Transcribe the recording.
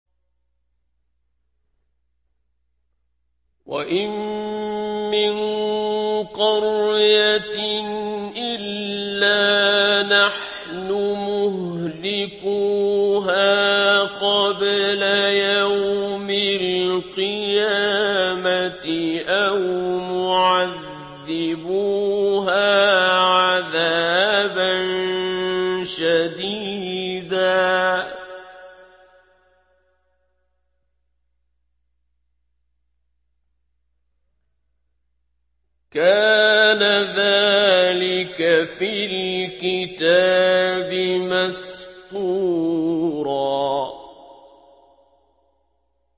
وَإِن مِّن قَرْيَةٍ إِلَّا نَحْنُ مُهْلِكُوهَا قَبْلَ يَوْمِ الْقِيَامَةِ أَوْ مُعَذِّبُوهَا عَذَابًا شَدِيدًا ۚ كَانَ ذَٰلِكَ فِي الْكِتَابِ مَسْطُورًا